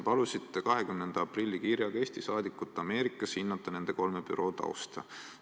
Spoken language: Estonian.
Palusite 20. aprillil saadetud kirjas Eesti saadikul Ameerikas hinnata nende kolme büroo tausta.